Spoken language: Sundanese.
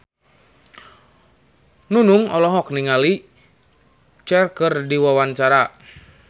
Nunung olohok ningali Cher keur diwawancara